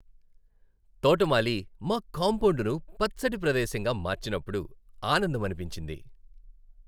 తోటమాలి మా కాంపౌండును పచ్చటి ప్రదేశంగా మార్చినప్పుడు ఆనందమనిపించింది.